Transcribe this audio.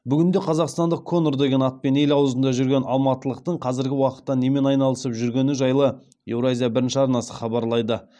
бүгінде қазақстандық конор деген атпен ел аузында жүрген алматылықтың қазіргі уақытта немен айналысып жүргені жайлы еуразия бірінші арнасы хабарлайды